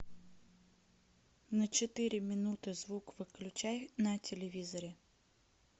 на четыре минуты звук выключай на телевизоре